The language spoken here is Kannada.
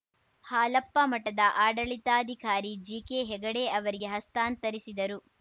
ಹಾಲಪ್ಪ ಮಠದ ಆಡಳಿತಾಧಿಕಾರಿ ಜಿಕೆ ಹೆಗಡೆ ಅವರಿಗೆ ಹಸ್ತಾಂತರಿಸಿದರು